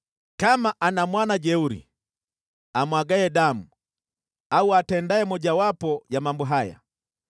“Aweza kuwa ana mwana jeuri, amwagaye damu au atendaye mojawapo ya mambo haya